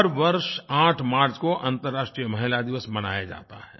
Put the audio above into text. हर वर्ष 8 मार्च को अन्तरराष्ट्रीय महिलादिवस मनाया जाता है